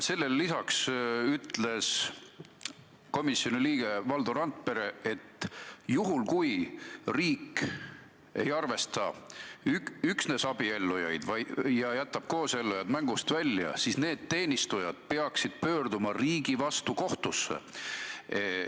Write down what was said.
Sellele lisaks ütles komisjoni liige Valdo Randpere, et kui riik arvestab üksnes abiellunuid ja jätab koosellunud mängust välja, siis need teenistujad peaksid pöörduma riigi vastu kohtusse.